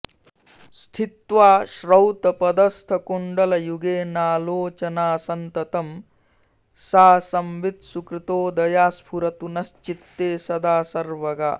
स्थित्वा श्रौतपथस्थकुण्डलयुगेनालोचनासंततं सा संवित् सुकृतोदया स्फुरतु नश्चित्ते सदा सर्वगा